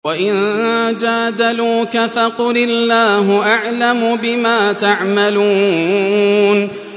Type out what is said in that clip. وَإِن جَادَلُوكَ فَقُلِ اللَّهُ أَعْلَمُ بِمَا تَعْمَلُونَ